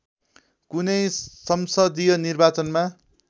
कुनै संसदीय निर्वाचनमा